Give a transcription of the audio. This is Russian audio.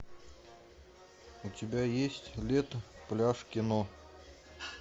у тебя есть лето пляж кино